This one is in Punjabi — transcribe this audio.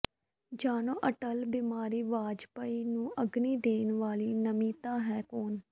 ਜਾਣੋ ਅਟਲ ਬਿਹਾਰੀ ਵਾਜਪੇਈ ਨੂੰ ਅਗਨੀ ਦੇਣ ਵਾਲੀ ਨਮਿਤਾ ਹੈ ਕੌਣ